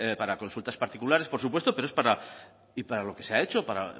para consultas particulares por supuesto pero es para lo que se ha hecho para